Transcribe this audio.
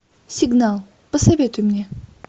сигнал посоветуй мне